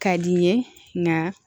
Ka di n ye nka